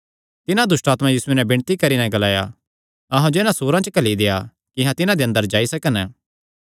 तिन्हां दुष्टआत्मां यीशुये नैं विणती करी नैं ग्लाया अहां जो इन्हां सूअरां च घल्ली देआ कि अहां तिन्हां दे अंदर जाई सकन